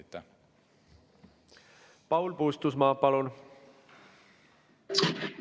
Paul Puustusmaa, palun!